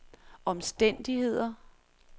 omstændigheder